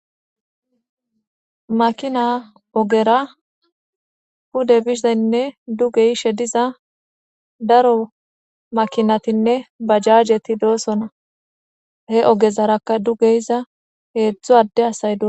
Makinay ogera pude bizanne duge yishe diza daro makinatine bajajeti doosona he ogezaraka duge yiza hezhu adde asati doosona